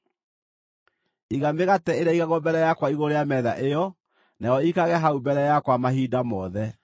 Iga mĩgate ĩrĩa ĩigagwo mbere yakwa igũrũ rĩa metha ĩyo, nayo ĩikarage hau mbere yakwa mahinda mothe.